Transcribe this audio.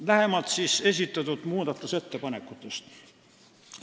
Lähemalt esitatud muudatusettepanekutest.